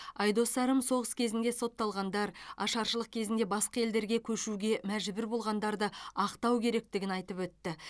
айдос сарым соғыс кезінде сотталғандар ашаршылық кезінде басқа елдерге көшуге мәжбүр болғандарды ақтау керектігін айтып өтті